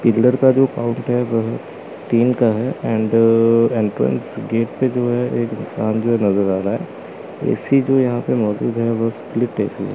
Pillar का जो fountain जो है तीन का है एंड एंट्रेंस गेट पे जो है एक इंसान जो नजर आ रहा है ऐ_सी जो यहां पे मौजूद है वो स्प्लिट ऐ_सी है।